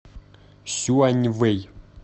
сюаньвэй